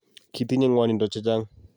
Kiitinye ngwanindo chechang